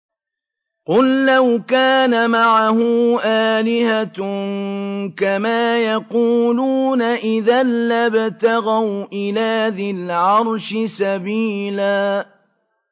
قُل لَّوْ كَانَ مَعَهُ آلِهَةٌ كَمَا يَقُولُونَ إِذًا لَّابْتَغَوْا إِلَىٰ ذِي الْعَرْشِ سَبِيلًا